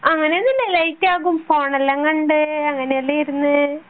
അങ്ങനെ ഒന്നുല്ല ലേറ്റ് ആകും ഫോണെല്ലാം കണ്ടു അങ്ങനെയെല്ലോ ഇരുന്നു